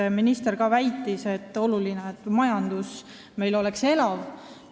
Ka minister pidas oluliseks, et majanduselu oleks meil elav.